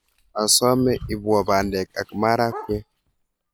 Asome iipwo pandek ak marakwek